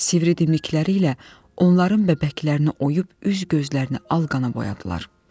Sivri dimdikləri ilə onların bəbəklərini oyub üz gözlərini al qana boyadılar.